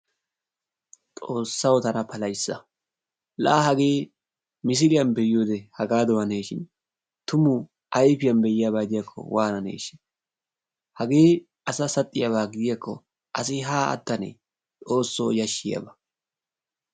Xoossawu tana palahissa! La hagee misiliyan be'iyode hagaadan hanishin tumu ayfiyan be'iyaba gidiyaakko wananeeshsha! Hagee asa saxxiyaaba gidiyaakko asi haa attanee! Xoosso yashshiyaaba.